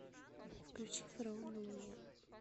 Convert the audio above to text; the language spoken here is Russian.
включи фараон на луне